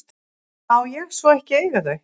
Má ég svo ekki eiga þau?